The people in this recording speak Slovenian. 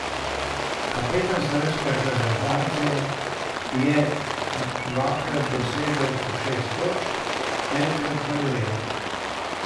Kapetan slovenske reprezentance je dvakrat dosegel po šest točk, enkrat pa devet.